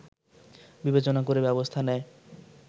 বিবেচনা করে ব্যবস্থা নেয়